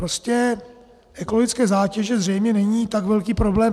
Prostě ekologické zátěže zřejmě nejsou tak velký problém.